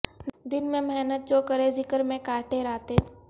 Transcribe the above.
دن میں محنت جوکریں ذکر میں کا ٹیں راتیں